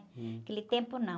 Hum.aquele tempo, não.